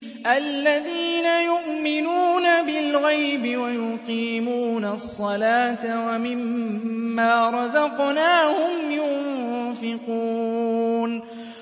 الَّذِينَ يُؤْمِنُونَ بِالْغَيْبِ وَيُقِيمُونَ الصَّلَاةَ وَمِمَّا رَزَقْنَاهُمْ يُنفِقُونَ